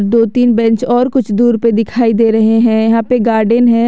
दो तीन बेंच और कुछ दूर पर दिखाई दे रहे हैं यहां पे गार्डन है।